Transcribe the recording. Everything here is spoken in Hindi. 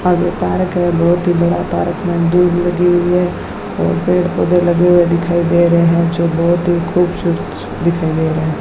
और ओ पारक बहुत ही बड़ा पारक में दूब लगी हुई है और पेड़ पौधे लगे हुए दिखाई दे रहे हैं जो बहोत ही खूबसूरत दिखाई दे रहें --